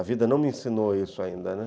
A vida não me ensinou isso ainda, né.